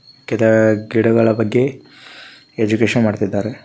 ಕೆಲ ಗಿಡಗಳ ಬಗ್ಗೆ ಎಜುಕೇಶನ್ ಮಾಡುತ್ತಿದ್ದಾರೆ.